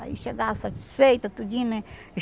Aí, chegava satisfeita, tudinho, né?